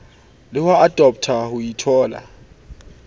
le ho adoptha ho itholla